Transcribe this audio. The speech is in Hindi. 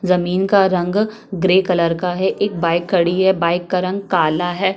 जमीन का रंग ग्रे कलर का हैएक बाइक खड़ी है बाइक का रंग काला है।